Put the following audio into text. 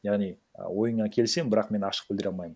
яғни і ойыңа келісемін бірақ мен ашық білдіре алмаймын